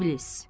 İblis.